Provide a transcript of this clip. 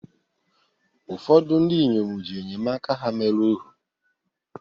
ụfọdụ ndị inyom ji enyemaka ha mere ohu